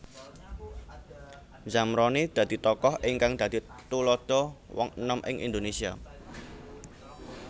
Zamroni dadi tokoh ingkang dadi tuladha wong enom ing Indonesia